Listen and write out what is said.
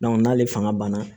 n'ale fanga banna